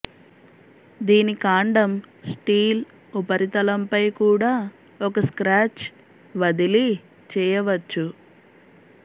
దీని కాండం స్టీల్ ఉపరితలంపై కూడా ఒక స్క్రాచ్ వదిలి చేయవచ్చు